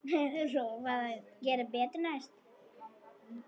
Lofa að gera betur næst.